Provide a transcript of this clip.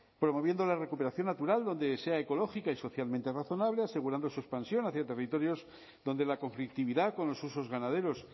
promoviendo la recuperación natural donde sea ecológica y socialmente razonable asegurando su expansión hacia territorios donde la conflictividad con los usos ganaderos